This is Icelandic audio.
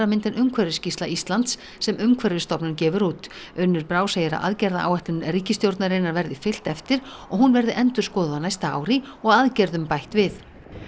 mynd en umhverfisskýrsla Íslands sem Umhverfisstofnun gefur út Unnur Brá segir að aðgerðaáætlun ríkisstjórnarinnar verði fylgt eftir og hún verði endurskoðuð á næsta ári og aðgerðum bætt við